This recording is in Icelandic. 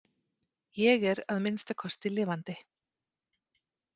Ég er að minnsta kosti lifandi.